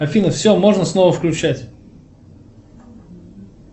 афина все можно снова включать